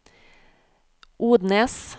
Odnes